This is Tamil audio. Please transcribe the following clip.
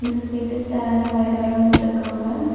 இந்த சைடு சேரு பைலர் எல்லா வச்சிருக்காங்க.